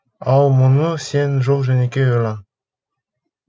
ал мұны сен жол жөнекей ойлан